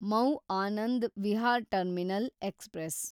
mu Anand Vihar terminal express